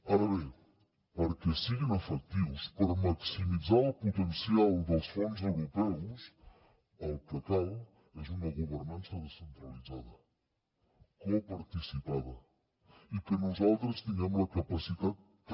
ara bé perquè siguin efectius per maximitzar el potencial dels fons europeus el que cal és una governança descentralitzada coparticipada i que nosaltres tinguem la capacitat també